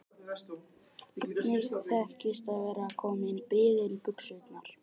Einnig þekkist að vera kominn í biðilsbuxurnar.